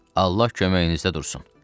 Allah köməyinizdə dursun, cənab.